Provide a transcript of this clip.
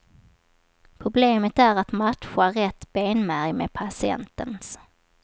Problemet är att matcha rätt benmärg med patientens.